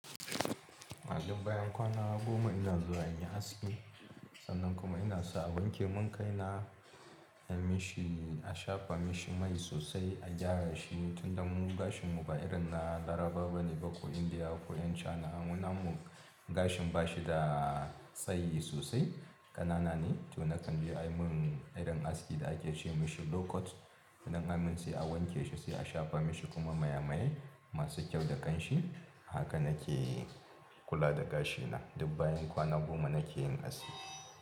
A duk bayan kwana goma ina zuwa in yi aski. Sannan kuma ina sa a wanke mun kai na, ya mishi, a shafa mishi mai sosai, a gyara shi, tunda mun gashin mu ba irin na Laraba bane ko Indiya ko 'yan China. Mu na mu gashin ba shi da tsayi sosai, ƙanana ne. To na kan bi a yi mun irin aski da ake ce mishi low cut. Nan amunn sai a wanke shi sai a shafa mashi kuma maye maye masu kyau da ƙanshi. Haka na ke kula da gashina. Duk bayan kwana goma na ke yin aski.